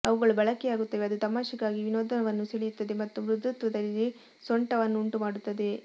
ಅವುಗಳು ಬಳಕೆಯಾಗುತ್ತವೆ ಅದು ತಮಾಷೆಗಾಗಿ ವಿನೋದವನ್ನು ಸೆಳೆಯುತ್ತದೆ ಮತ್ತು ಮೃದುತ್ವದಲ್ಲಿ ಸೊಂಟವನ್ನುಂಟುಮಾಡುತ್ತದೆ